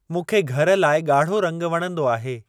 मूंखे घर लाइ ॻाढ़ो रंगु वणंदो आहे।